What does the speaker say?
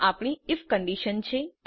આ આપણી I F condition છે